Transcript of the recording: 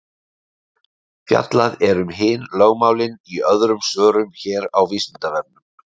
fjallað er um hin lögmálin í öðrum svörum hér á vísindavefnum